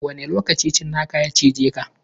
Wane lokaci tsinakan ya cije ka?